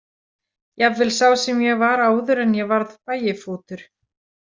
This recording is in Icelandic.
Jafnvel sá sem ég var áður en ég varð Bægifótur.